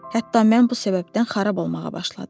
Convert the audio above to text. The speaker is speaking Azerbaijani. Hətta mən bu səbəbdən xarab olmağa başladım.